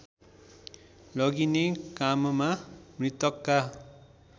लगिने काममा मृतकका